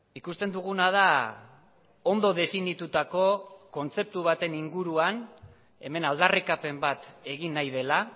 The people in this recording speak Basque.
ikusten duguna da ondo definitutako kontzeptu baten inguruan hemen aldarrikapen bat egin nahi dela